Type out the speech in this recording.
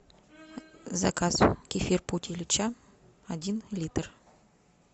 заказ кефир путь ильича один литр